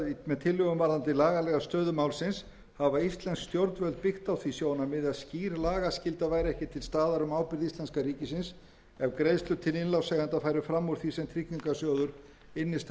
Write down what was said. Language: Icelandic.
við tillöguna varðandi lagalega stöðu málsins hafa íslensk stjórnvöld byggt á því sjónarmiði að skýr lagaskylda væri ekki til staðar um ábyrgð íslenska ríkisins ef greiðslur til innlánseigenda færu fram úr því sem tryggingarsjóður innstæðueigenda og fjárfesta gæti staðið undir